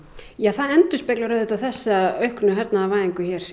það endurspeglar auðvitað þessa auknu hernaðarvæðingu